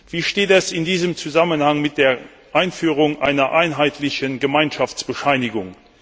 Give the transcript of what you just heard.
Wie steht es in diesem Zusammenhang mit der Einführung einer einheitlichen Gemeinschaftsbescheinigung?